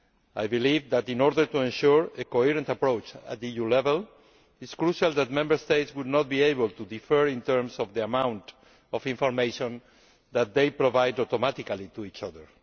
I believe that, in order to ensure a coherent approach at EU level, it is crucial that Member States should not be able to differ in terms of the amount of information that they provide automatically to each other.